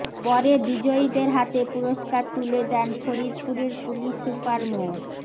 পরে বিজয়ীদের হাতে পুরস্কার তুলে দেন ফরিদপুরের পুলিশ সুপার মো